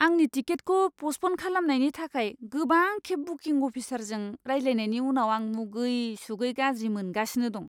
आंनि टिकेटखौ प'स्टप'न खालामनायनि थाखाय गोबांखेब बुकिं अफिसारजों रायज्लायनायनि उनाव आं मुगै सुगै गाज्रि मोनगासिनो दं!